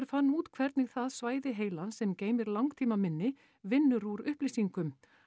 fann út hvernig það svæði heilans sem geymir langtímaminni vinnur úr upplýsingum